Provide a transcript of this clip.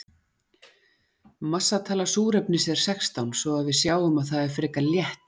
massatala súrefnis er sextán svo að við sjáum að það er frekar létt